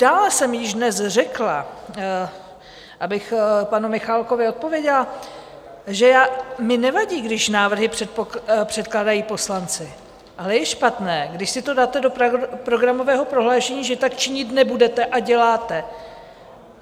Dále jsem již dnes řekla, abych panu Michálkovi odpověděla, že mi nevadí, když návrhy předkládají poslanci, ale je špatné, když si to dáte do programového prohlášení, že tak činit nebudete, a děláte.